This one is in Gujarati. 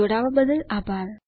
જોડવા બદલ આભાર